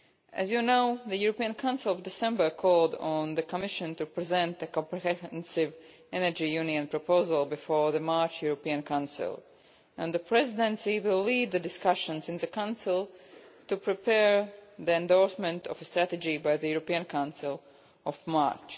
As you know, the European Council in December called on the Commission to present a comprehensive energy union proposal before the March European Council, and the Presidency will lead the discussions in the Council to prepare the endorsement of a strategy by the European Council in March.